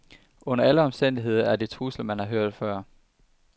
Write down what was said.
Under alle omstændigheder er det trusler, man har hørt før.